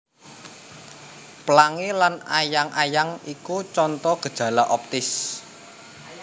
Plangi lan ayang ayang iku conto gejala optis